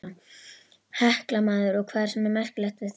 Hekla maður, og hvað er svona merkilegt við það.